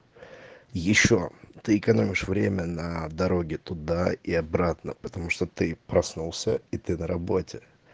ещё ты экономишь время на дороге туда и обратно потому что ты проснулся и ты на работе